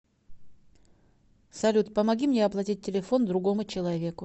салют помоги мне оплатить телефон другому человеку